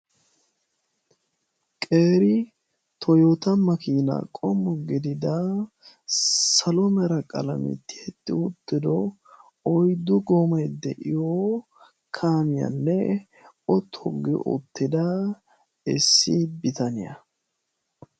qeri toyota ma kiina qommo gidida salomera qalametti etti uuttido oiddu goomee de7iyo kaamiyaanne otoggi ottida issi bitaniyaa